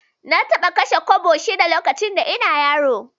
Na taɓa kashe kwabo shida lokacin da ina yaro